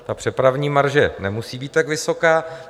Ta přepravní marže nemusí být tak vysoká.